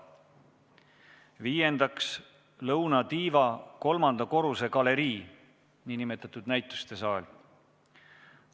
Viiendaks, lõunatiiva kolmanda korruse galerii, nn näitusesaal.